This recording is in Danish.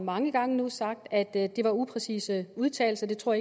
mange gange sagt at det var upræcise udtalelser det tror